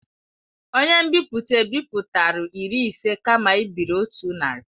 Onye nbipute ebipụtara iri ise kama ibiri otu narị.